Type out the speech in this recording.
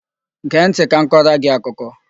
Gee ntị ka m kọrọ gị akụkọ!